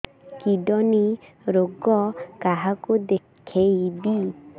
kidney ରୋଗ କାହାକୁ ଦେଖେଇବି